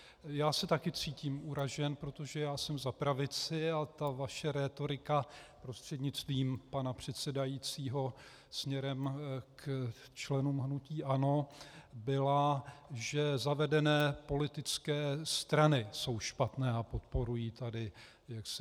Já se taky cítím uražen, protože já jsem za pravici a ta vaše rétorika, prostřednictvím pana předsedajícího směrem k členům hnutí ANO, byla, že zavedené politické strany jsou špatné a podporují tady korupci.